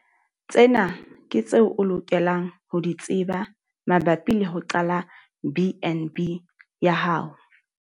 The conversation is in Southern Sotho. Tsena ke tseo o lokelang ho di tseba mabapi le ho qala BnB ya hao.